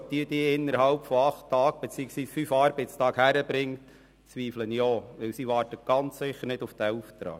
Ob sie diese innerhalb von acht Tagen beziehungsweise fünf Arbeitstagen aufbringen kann, bezweifle ich, denn diese Person wartet ganz sicher nicht auf diesen Auftrag.